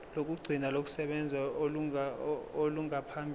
lokugcina lokusebenza olungaphambi